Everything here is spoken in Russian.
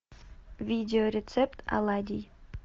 видео рецепт оладий